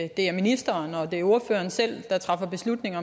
at det er ministeren og at det er ordføreren selv der træffer beslutningen